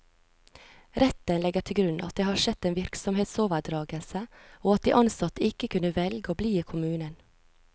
Retten legger til grunn at det har skjedd en virksomhetsoverdragelse, og at de ansatte ikke kunne velge å bli i kommunen.